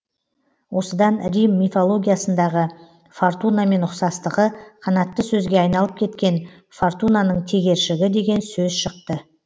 осыдан рим мифологиясындағы фортунамен ұқсастығы қанатты сөзге айналып кеткен фортунаның тегершігі деген сөз шықты